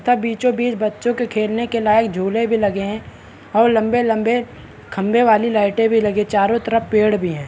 तथा बीचो बीच बच्चो के खेलने के लायक झूले भी लगे हैं और लम्बे-लम्बे खम्बे वाली लाइटे भी लगी है चारो तरफ पेड़ भी हैं।